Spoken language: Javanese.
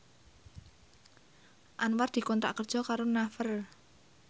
Anwar dikontrak kerja karo Naver